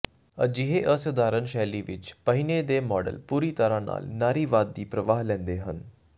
ਅਜਿਹੇ ਅਸਧਾਰਨ ਸ਼ੈਲੀ ਵਿਚ ਪਹਿਨੇ ਦੇ ਮਾਡਲ ਪੂਰੀ ਤਰ੍ਹਾਂ ਨਾਲ ਨਾਰੀਵਾਦ ਦੀ ਪ੍ਰਵਾਹ ਲੈਂਦੇ ਹਨ